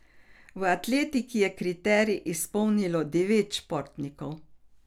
V atletiki je kriterij izpolnilo devet športnikov.